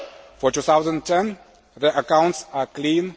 For 2010 the accounts are clean